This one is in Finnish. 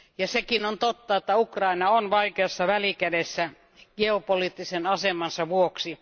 Sekin on totta, että Ukraina on vaikeassa välikädessä geopoliittisen asemansa vuoksi.